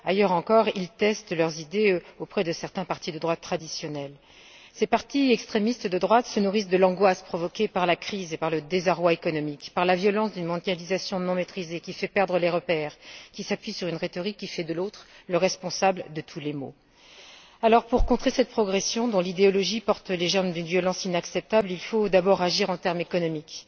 Ailleurs encore, ils testent leurs idées auprès de certains partis de droite traditionnels. Ces partis extrémistes de droite se nourrissent de l'angoisse provoquée par la crise et par le désarroi économique, par la violence d'une mondialisation non maîtrisée qui fait perdre les repères, qui s'appuie sur une rhétorique qui fait de l'autre le responsable de tous les maux. Alors, pour contrer cette progression dont l'idéologie porte les germes d'une violence inacceptable, il faut d'abord agir en termes économiques.